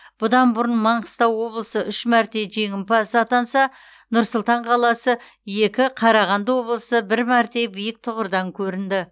бұдан бұрын маңғыстау облысы үш мәрте жеңімпаз атанса нұр сұлтан қаласы екі қарағанды облысы бір мәрте биік тұғырдан көрінді